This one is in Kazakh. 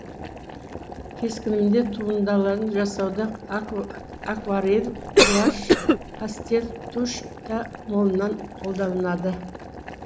кескінінде туындаларын жасауда акварель гуашь пастель тушь та молынан қолданылады